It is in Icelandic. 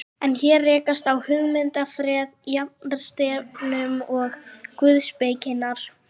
En hér rekast á hugmyndafræði jafnaðarstefnunnar og guðspekinnar.